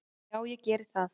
Já ég geri það.